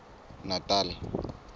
natal